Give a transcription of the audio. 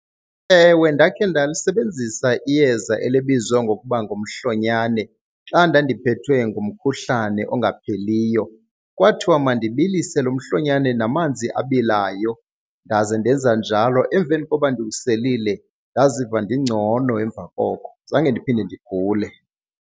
Ewe, ndakhe ndalisebenzisa iyeza elibizwa ngokuba ngumhlonyane xa ndandiphethwe ngumkhuhlane ongapheliyo. Kwathiwa mandibilise lo mhlonyane namanzi abilayo ndaze ndenza njalo. Emveni koba ndiwuselile ndaziva ndingcono emva koko, zange ndiphinde ndigule.